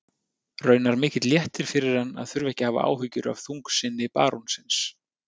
Raunar mikill léttir fyrir hann að þurfa ekki að hafa áhyggjur af þungsinni barónsins.